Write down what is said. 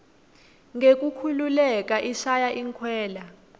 ngekukhululeka ishaya inkwela